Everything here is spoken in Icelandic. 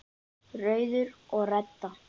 Rauður og Redda